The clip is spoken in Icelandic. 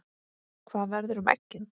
Hvað verður um eggin?